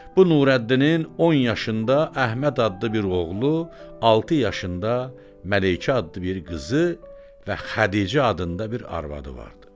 Bu Nurəddinin 10 yaşında Əhməd adlı bir oğlu, 6 yaşında Məleykə adlı bir qızı və Xədicə adında bir arvadı vardı.